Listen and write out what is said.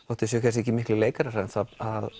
þótt þeir séu ekki miklir leikarar það